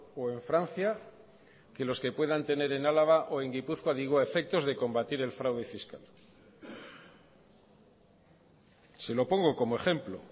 o en francia que los que puedan tener en álava o en gipuzkoa digo a efectos de combatir el fraude fiscal se lo pongo como ejemplo